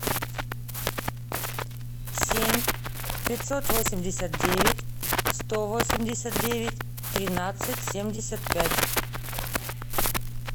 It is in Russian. семь пятьсот восемьдесят девять сто восемьдесят девять тринадцать семьдесят пять